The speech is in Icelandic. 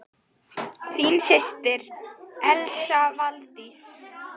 Þín systir, Elsa Valdís.